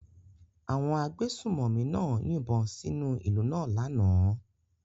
Àwọn agbésùnmòmí náà yìnbọn sínú ìlú náà lánàá.